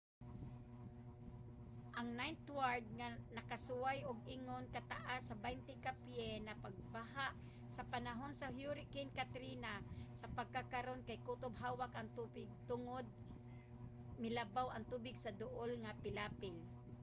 ang ninth ward nga nakasuway og ingon ka taas sa 20 ka pye nga pagbaha sa panahon sa hurricane katrina sa pagkakaron kay kutob hawak ang tubig tungod milabaw ang tubig sa duol nga pilapil